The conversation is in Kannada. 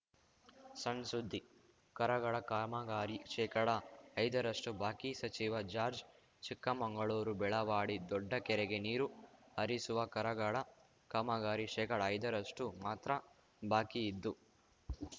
ಸಣ್‌ ಸುದ್ದಿ ಕರಗಡ ಕಾಮಗಾರಿ ಶೇಕಡಐದರಷ್ಟುಬಾಕಿ ಸಚಿವ ಜಾರ್ಜ್ ಚಿಕ್ಕಮಂಗಳೂರು ಬೆಳವಾಡಿ ದೊಡ್ಡ ಕೆರೆಗೆ ನೀರು ಹರಿಸುವ ಕರಗಡ ಕಾಮಗಾರಿ ಶೇಕಡಐದರಷ್ಟುಮಾತ್ರ ಬಾಕಿ ಇದ್ದು